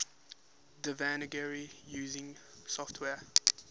devanagari using software